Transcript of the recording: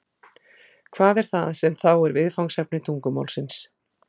hvað er það sem þá er viðfangsefni tungumálsins